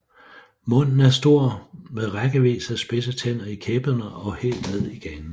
Munden er stor med rækkevis af spidse tænder i kæberne og helt ned i ganen